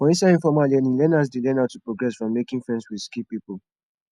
for inside informal learning learners dey learn how to progress from making friends with skilled pipo